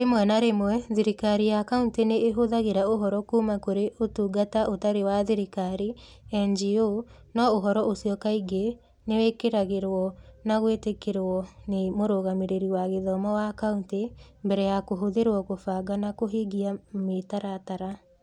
Rĩmwe na rĩmwe thirikari ya kaunti nĩ ĩhũthagĩra ũhoro kuuma kũrĩ Ũtungata Ũtarĩ wa Thirikari (NGO), no ũhoro ucio kaingĩ nĩ wĩkĩrĩragũo na gwĩtĩkĩrwo nĩ Mũrũgamĩrĩri wa Gĩthomo wa County, mbere ya kũhũthĩrwo kũbanga na kũhingia mĩtaratara.